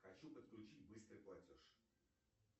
хочу подключить быстрый платеж